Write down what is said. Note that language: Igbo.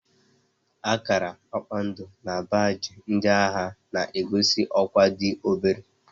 Akara kpakpando na baajị ndị agha na-egosi ọkwá dị obere